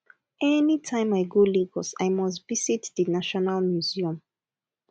anytime i go lagos i must visit the national museum